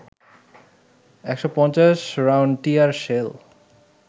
১৫০ round tear shell